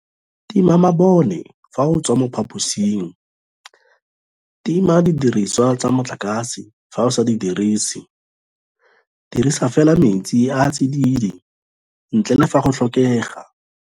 Tima mabone fa o tswa mo phaposing. Tima didiriswa tsa motlakase fa o sa di dirise. Dirisa fela metsi a a tsididi, ntle le fa go tlhokega.